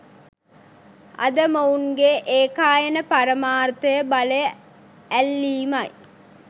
අද මොවුන්ගේ ඒකායන පරමාර්ථය බලය ඈල්ලීමයි